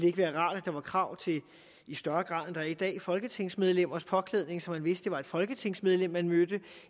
ikke være rart at der var krav til i større grad er i dag folketingsmedlemmers påklædning så man vidste var et folketingsmedlem man mødte